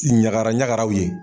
Ɲagara ɲagaraw ye